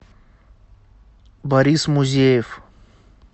борис музеев